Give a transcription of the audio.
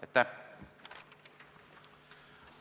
Aitäh!